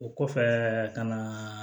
O kɔfɛ ka na